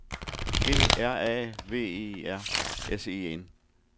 G R A V E R S E N